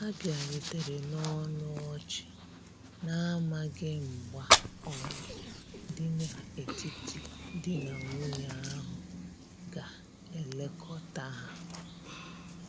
Ha biarutere na ọnụ ọchi, na amaghi mgba oyi di na etiti di na nwunye ahu ga elekota ha.